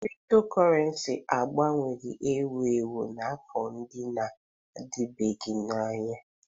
Cryptocurrency aghọwowanye ewu ewu n'afọ ndị na-adịbeghị anya.